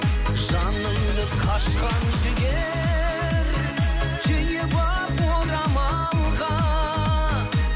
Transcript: жанымды қашқан жігер түйіп алып орамалға